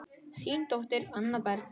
Þín dóttir, Anna Berg.